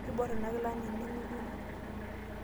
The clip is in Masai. Keiborr ina kila anaa ene ng'utunyi.